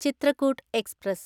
Chitrakoot express